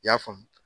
I y'a faamu